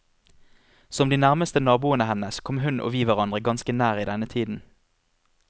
Som de nærmeste naboene hennes kom hun og vi hverandre ganske nær i denne tiden.